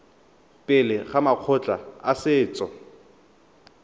pele ga makgotla a setso